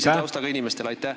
... sellise taustaga inimestele?